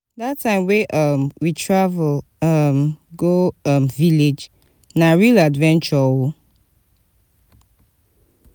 dat time wey um we travel um go um village na real adventure o.